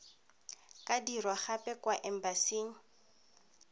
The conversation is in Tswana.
ka dirwa gape kwa embasing